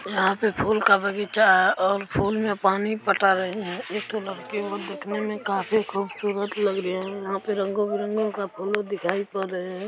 यहाँ पे फूल का बगीचा है और फूल में पानी पटा रहे हैं। एक ठु लड़की वो दिखने में काफी खूबसूरत लगी रही है। यहाँ पे रंगों बिरंगों का फूलो दिखाई पड़ रहे हैं।